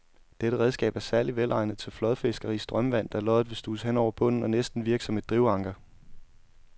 Dette redskab er særlig velegnet til flådfiskeri i strømvand, da loddet vil studse hen over bunden og næsten virke som et drivanker.